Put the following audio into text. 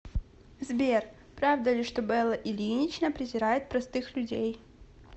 сбер правда ли что белла ильинична презирает простых людей